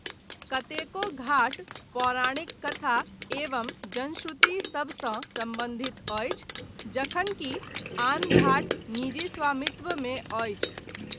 कतेको घाट पौराणिक कथा एवं जनश्रुति सभसँ सम्बन्धित अछि जखनकि आन घाट निजी स्वामित्वमे अछि।